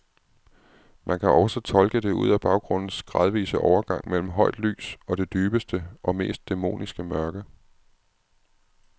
Man kan også tolke det ud af baggrundens gradvise overgang mellem højt lys og det dybeste og mest dæmoniske mørke.